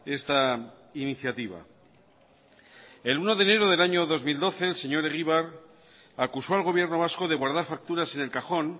esta iniciativa el uno de enero del año dos mil doce el señor egibar acusó al gobierno vasco de guardar facturas en el cajón